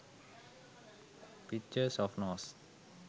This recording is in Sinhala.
pictures of nose